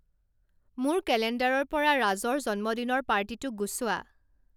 মোৰ কেলেণ্ডাৰৰ পৰা ৰাজৰ জন্মদিনৰ পাৰ্টীটো গুচোৱা